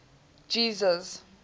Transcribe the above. jesus